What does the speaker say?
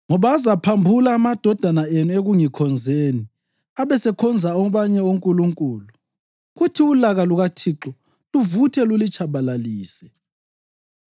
ngoba azaphambula amadodana enu ekungikhonzeni abesekhonza abanye onkulunkulu, kuthi ulaka lukaThixo luvuthe lulitshabalalise.